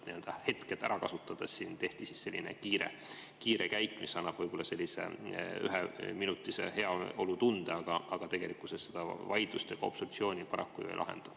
Hetke ära kasutades tehti selline kiire käik, mis annab võib-olla üheminutilise heaolutunde, aga tegelikkuses see seda vaidlust ega obstruktsiooni paraku ei lahenda.